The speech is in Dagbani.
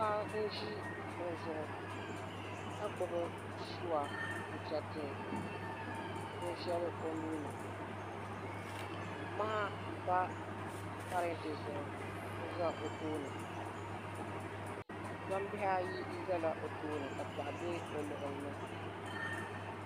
Paɣa n ʒi kuɣu zuɣu ka gbubi suwa n chɛriti bin shɛli o nuuni maha n pa parantɛ zuɣu n za o tooni gbambihi ayi ʒɛla o tooni ka piɛɣu bɛ o luɣuli ni